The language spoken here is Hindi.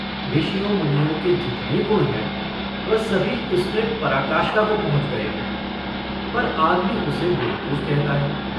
ऋषियों-मुनियों के जितने गुण हैं, वह सभी उसमें पराकाष्ठा को पहुँच गए हैं, पर आदमी उसे बेवकूफ़ कहता है।